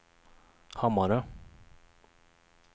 Hammarö